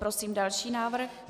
Prosím další návrh.